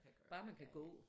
Bare man kan gå